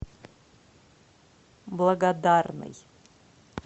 благодарный